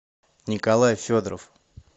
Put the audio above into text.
николай федоров